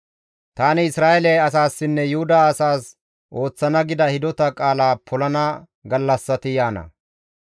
«Tani Isra7eele asaassinne Yuhuda asas ooththana gida hidota qaala polana gallassati yaana.